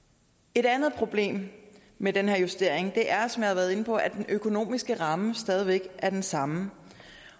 et andet problem med den her justering er som jeg har været inde på at den økonomiske ramme stadig væk er den samme